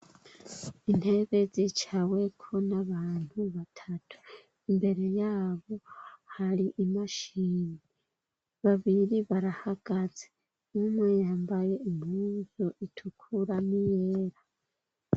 Intebe zicaweko n'abantu batatu, imbere yabo hari imashini, babiri barahagaze, umwe yambaye umpuzu itukura n'iyera.